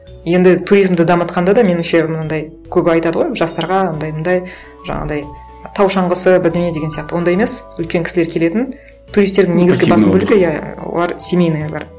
енді туризмді дамытқанда да меніңше мынандай көп айтады ғой жастарға андай мындай жаңағындай тау шаңғысы бірдеңе деген сияқты ондай емес үлкен кісілер келетін туристердің басым бөлігі иә олар семейныйлар